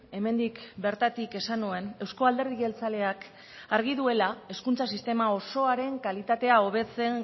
hemendik bertatik esan nuen euzko alderdi jeltzaleak argi duela hezkuntza sistema osoaren kalitatea hobetzen